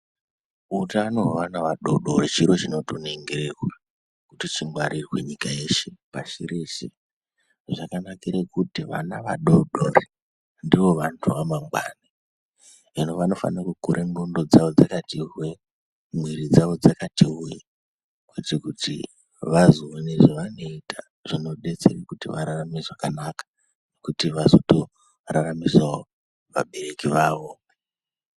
Utano hweana adoodori chiri chinofanire chinotoningirwa kuti chingwarirwe nyika yeshe, pashi reshe. Zvakanakire kuti vana vadoodori ndoovantu vemangwani hino vanofanire kukura nxondo dzawo dzakati hwee, muiri dzavo dzakati hwee kuitire kuti vazoone zvavanoita zvinodetsere kuti vararame zvakanaka kuti vazoraramisawo vabereki vavo.